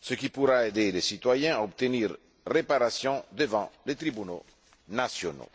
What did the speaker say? ce qui pourra aider les citoyens à obtenir réparation devant les tribunaux nationaux.